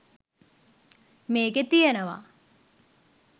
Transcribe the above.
මේකේ තියනවා